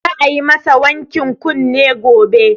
Za a yi ma sa wankin kunne gobe